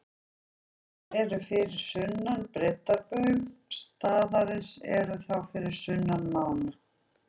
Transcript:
Þeir sem eru fyrir sunnan breiddarbaug staðarins eru þá fyrir sunnan mána.